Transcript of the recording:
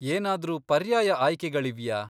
ಏನಾದ್ರೂ ಪರ್ಯಾಯ ಆಯ್ಕೆಗಳಿವ್ಯಾ?